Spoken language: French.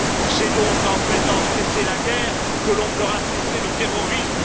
C'est donc en faisant cesser la guerre que l'on fera cesser le terrorisme.